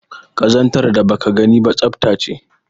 Kazantar da baka gani ba tsafta ce